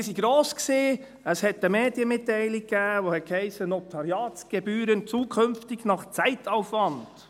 Die Hoffnungen waren gross, es gab eine Medienmitteilung, in der es hiess: «Notariatsgebühren zukünftig nach Zeitaufwand».